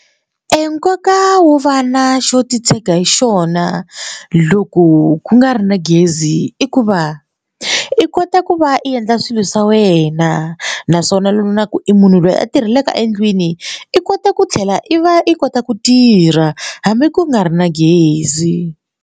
Eya nkoka wo va na xo titshega hi xona loko ku nga ri na gezi i ku va i kota ku va endla swilo swa wena naswona loko vonaku i munhu loyi a tirhelaka endlwini i kota ku tlhela i va i kota ku tirha hambi ku nga ri na gezi.